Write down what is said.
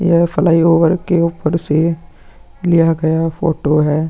यह फ्लाईओवर के ऊपर से लिया गया फोटो है।